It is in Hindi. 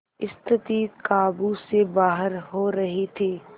स्थिति काबू से बाहर हो रही थी